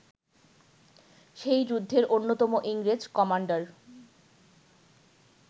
সেই যুদ্ধের অন্যতম ইংরেজ কমান্ডার